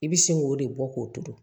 I bi sin k'o de bɔ k'o to